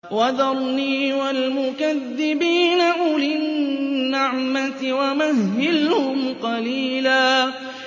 وَذَرْنِي وَالْمُكَذِّبِينَ أُولِي النَّعْمَةِ وَمَهِّلْهُمْ قَلِيلًا